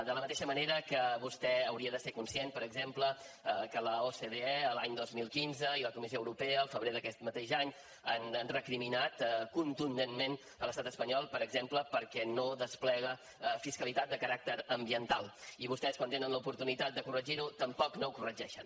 de la mateixa manera que vostè hauria de ser conscient per exemple que l’ocde l’any dos mil quinze i la comissió europea al febrer d’aquest mateix any han recriminat contundentment a l’estat espanyol per exemple perquè no desplega fiscalitat de caràcter ambiental i vostès quan tenen l’oportunitat de corregir ho tampoc no ho corregeixen